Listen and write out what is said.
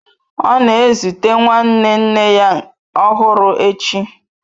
Ọ na-ezute nwanne nne ya ọhụrụ echi